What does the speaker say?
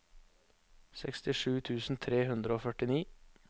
sekstisju tusen tre hundre og førtini